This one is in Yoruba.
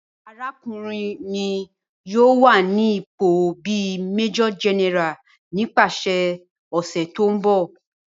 Arakunrin mi yoo wa ni ipo bi Major General nipasẹ ọsẹ ti n bọ.